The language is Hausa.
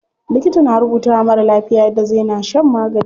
Likita na rubutawa marar lafiya yadda zai na shan magani.